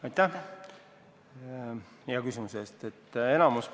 Aitäh hea küsimuse eest!